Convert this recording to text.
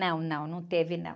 Não, não, não teve não.